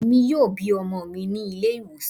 Emi yoo bi ọmọ mi ni ile-iwosan